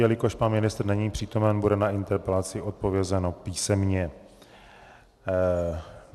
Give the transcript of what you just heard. Jelikož pan ministr není přítomen, bude na interpelaci odpovězeno písemně.